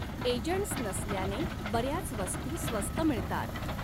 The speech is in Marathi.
एजन्ट्स नसल्याने बऱ्याच वस्तू स्वस्त मिळतात.